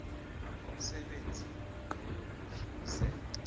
umsebenzi loyo kufuze